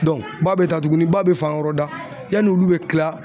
ba bɛ taa tugunni ba bɛ fan wɛrɛ da yanni olu bɛ kila